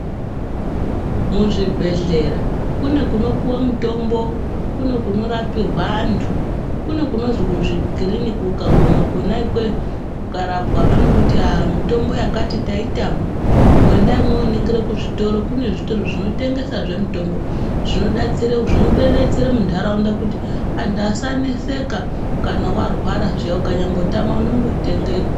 Muzvibhehlera kune kunopuwe mutombo, kune kunorapirwa antu, kune kunozi kuzvikiriniki. Ukaguma kona ikweyo ukarapwa vanokuti hah mutombo yakati taitama endai mooningire kuzvitoro. Kune zvitoro zvinotengesazve mitombo. Zvinodetsere muntaraunda kuti antu asaneseka kana warwara zviya ukanyambotama unondotenge ikwe...